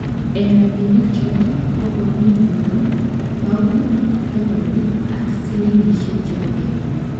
Eng' rabinik choto ko koomi euro, paunik, dolainik ak sillingishek chebo Kenya